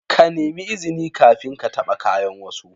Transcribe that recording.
Ka nemi izini kafin ka taba kayan wasu.